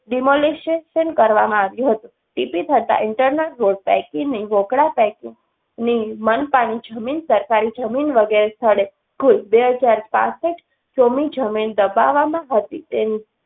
Demolization કરવામાં આવ્યું હતું. ટીપી થતા internal road પૈકી ની વોંકડા પૈકી ની મનપાની જમીન, સરકારી જમીન વગેરે સ્થળે કુલ બેહજાર પાંસઠ ચોમી જમીન દબાવવામાં હતી તેની